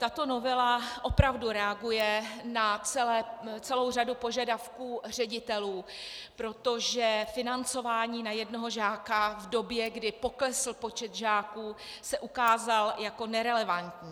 Tato novela opravdu reaguje na celou řadu požadavků ředitelů, protože financování na jednoho žáka v době, kdy poklesl počet žáků, se ukázalo jako nerelevantní.